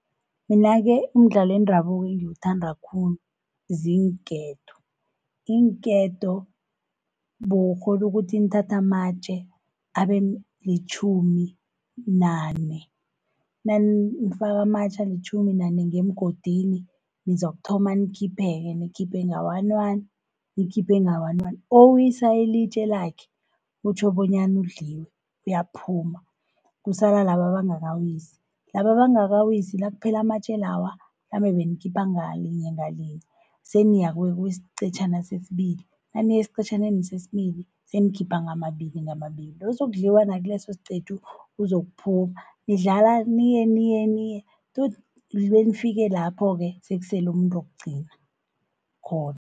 Mina-ke umdlalo wendabuko engiwuthanda khulu ziinketo. Iinketo bewukghona ukuthi nithathe amatje abe litjhumi nane. Nanifaka amatje alitjhumi nane ngemgodini, nizokuthoma nikhiphe-ke, nikhiphe nga-one, nikhiphe nga-one, owisa ilitje lakhe kutjho bonyana udliwe, uyaphuma kusala laba abangakawisi. Laba abangakawisi, nakuphela amatje lawa, mhlambe benikhipha ngalinye-ngalinye seniya kusiqetjhana sesibili, naniya esiqetjhaneni sesibili senikhipha ngamabili-ngamabili. Ozokudliwa nakulesosiqephu uzokuphuma, nidlala niye niye niye tot benifike lapho-ke sekusele umuntu wokugcina khona.